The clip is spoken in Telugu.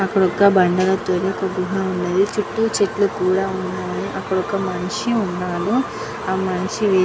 అక్కడ ఒక బండల తోని ఒక గుహ ఉంది చుట్టు చెట్లు కూడ ఉన్నాయి. అక్కడ ఒక మనిషి ఉన్నాడు. ఆ మనిషి --